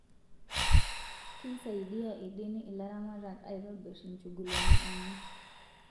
Keisaidia edenii ilaramatak aitobir ichugulini enye